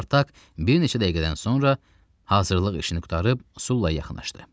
Spartak bir neçə dəqiqədən sonra hazırlıq işini qurtarıb Sula yaxınlaşdı.